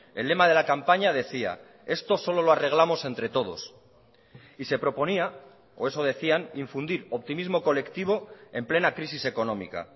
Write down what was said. el lema de la campaña decía esto solo lo arreglamos entre todos y se proponía o eso decían infundir optimismo colectivo en plena crisis económica